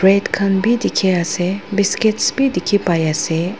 khan bi dikhi ase biscuits bi dikhi pai ase.